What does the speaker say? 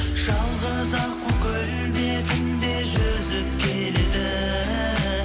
жалғыз аққу көл бетінде жүзіп келеді